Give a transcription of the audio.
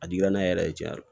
A dira ne yɛrɛ ye tiɲɛ yɛrɛ